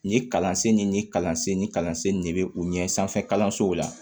Nin kalansen nin kalansen ni kalansen ne be u ɲɛ sanfɛ kalanso la